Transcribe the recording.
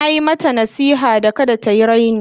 Na yi mata nasiha da kada ta yi raina.